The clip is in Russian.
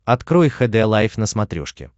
открой хд лайф на смотрешке